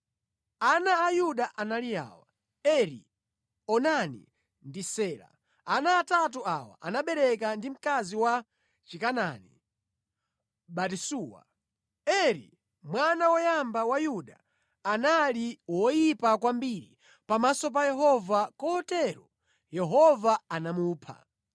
Ana a Yuda anali awa: Eri, Onani ndi Sela. Ana atatu awa anabereka ndi mkazi wa Chikanaani, Batisuwa. Eri, mwana woyamba wa Yuda anali woyipa kwambiri pamaso pa Yehova, kotero Yehova anamupha.